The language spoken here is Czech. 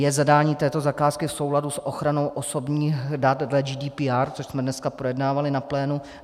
Je zadání této zakázky v souladu s ochranou osobních dat dle GDPR, což jsme dneska projednávali na plénu?